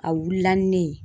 A wulila ni ne ye